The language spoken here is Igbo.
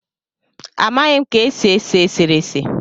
Amaghị ka e si ese eserese